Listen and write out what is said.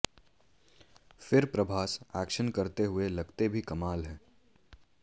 फिर प्रभास एक्शन करते हुए लगते भी कमाल हैं